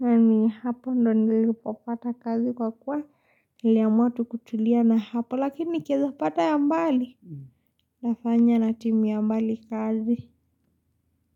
na ni hapa ndo nilipopata kazi kwa kuwa iliamua tu kutulia na hapo lakini nikieza pata ya mbali. Nafanya na timu ya mbali kazi.